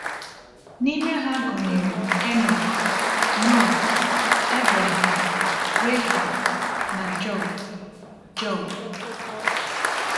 N’ime ha gụnyere Enọk, Noa, Abraham, Rahab, na Jọb. Jọb.